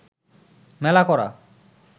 মেলা করা